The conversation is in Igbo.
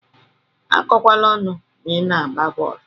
Akọkwana ọnụ ma ina agba bọọlụ.